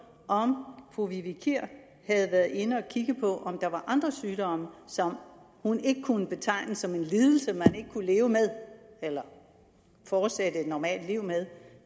om fru vivi kier havde været inde at kigge på om der var andre sygdomme som hun ikke kunne betegne som en lidelse man ikke kunne leve med eller fortsætte et normalt liv med